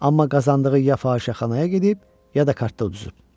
Amma qazandığı ya fahişəxanaya gedib, ya da kartda uduzub.